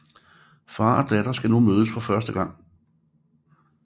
Far og datter skal nu mødes for første gang